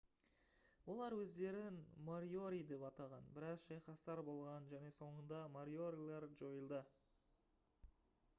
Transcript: олар өздерін мориори деп атаған біраз шайқастар болған және соңында мориорилер жойылды